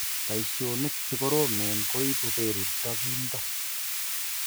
poishonik chikoromen kuibu berurto kinto.